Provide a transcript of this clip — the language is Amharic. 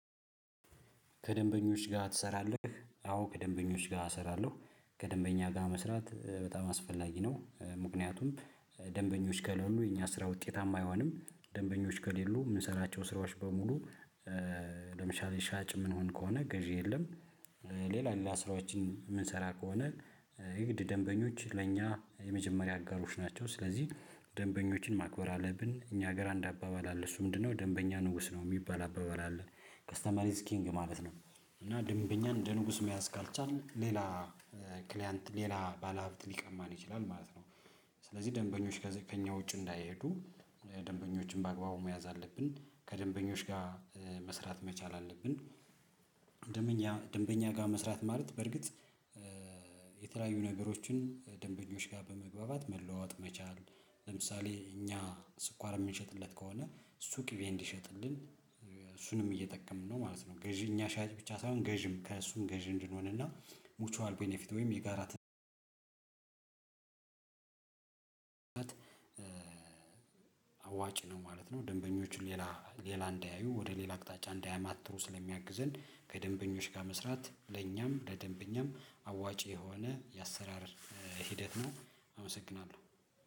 ከደንበኞች ጋር ትሰራለህ? አዎ ከደንበኞች ጋር እሰራለሁ። ከደንበኛ ጋር መስራት በጣም አስፈላጊ ነው። ምክንያቱም ደንበኞች ከሌሉ የእኛ ስራ ውጤታማ አይሆንም። ደንበኞች ከሌሉ የምንሰራቸው ስራዎች በሙሉ ለምሳሌ ሻጭ የምንሆን ከሆነ ገዥ የለም። ሌላ ሌላ ስራዎችን የምንሰራ ከሆነ የግድ ደንበኞች ለእኛ የመጀመሪያ አጋሮች ናቸው። ስለዚህ ደንበኞችን ማክበር አለብን። እኛ ሀገር አንድ አባባል አለ። እሱ ምንድነው ደንበኛ ንጉስ ነው የሚባል አባባል አለ። ከስተመር ኢዝ ኪንግ ማለት ነው። እና ደንበኛ እንደ ንጉስ መያዝ ካልቻልን ሌላ ክሊያንት ሌላ ባለሀብት ሊቀማን ይችላል ማለት ነው። ስለዚህ ደንበኞች ከዚህ ከኛ ውጭ እንዳይሄዱ ደንበኞችን በአግባቡ መያዝ አለብን። ከደንበኞች ጋር መስራት መቻል አለብን። ደንበኛ ደንበኛ ጋር መስራት ማለት በርግጥ የተለያዩ ነገሮችን ደንበኞች ጋር በመግባባት መለዋወጥ መቻል ለምሳሌ እኛ ስኳር የምንሸጥለት ከሆነ እሱ ቂቤ እንዲሸጥልን እሱንም እየጠቀምነው ነው ማለት ነው። ገዢ እኛ ሻጭ ብቻ ሳይሆን ገዢም ከእሱም ገዢ እንድንሆንና ሙቸዋል ቤኒፊት ወይም የጋራ አዋጭ ነው ማለት ነው። ደንበኞቹ ሌላ ሌላ እንዳያዩ ወደ ሌላ አቅጣጫ እንዳያማትሩ ስለሚያግዘን ከደንበኞች ጋር መስራት ለኛም ለደንበኛም አዋጪ የሆነ የአሰራር ሂደት ነው። አመሰግናለሁ።